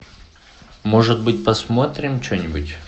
может быть посмотрим что нибудь